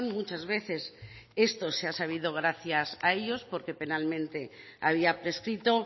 muchas veces esto se ha sabido gracias a ellos porque penalmente había prescrito